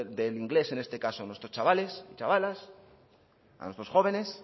del inglés en este caso a nuestros chavales y chavalas a nuestros jóvenes